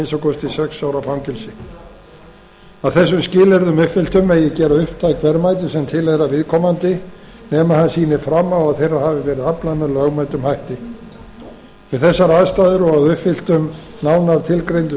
minnsta kosti sex ára fangelsi að þessum skilyrðum uppfylltum megi gera upptæk verðmæti sem tilheyra viðkomandi nema hann sýni fram á að þeirra hafi verið aflað með lögmætum hætti við þessar aðstæður og að uppfylltum nánar tilgreindum